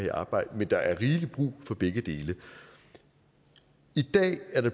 i arbejde men der er rigelig brug for begge dele i dag er der